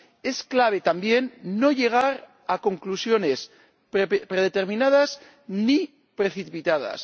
Es clave, también, no llegar a conclusiones predeterminadas ni precipitadas.